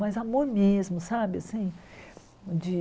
Mas amor mesmo, sabe assim? De